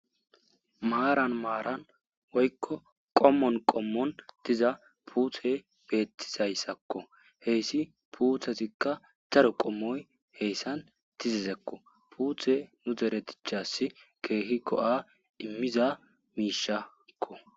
Maaran maaran woykko qommon qommon diza puuthe beettizayssakko heyssi puuthesikka zaru qommoy heyssan tizisekko puuthe nu deretichassi keehikko a immiza miishakko.